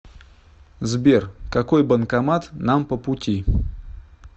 сбер какой банкомат нам по пути